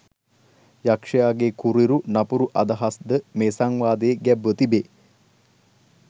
යක්ෂයාගේ කුරිරු නපුරු අදහස්ද මේ සංවාදයේ ගැබ්ව තිබේ.